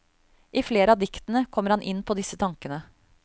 I flere av diktene kommer han inn på disse tankene.